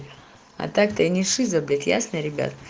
а так ты не шиза блять ясно ребят